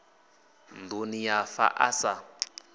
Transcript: nduni ya fa a sa